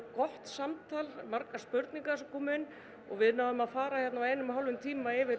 gott samtal margar spurningar sem komu inn og við náðum að fara á einum og hálfum tíma yfir